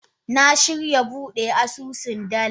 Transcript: Na shirya bude asusun dala.